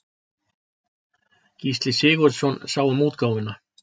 Gísli Sigurðsson sá um útgáfuna.